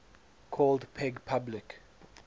called peg public